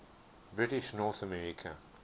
british north america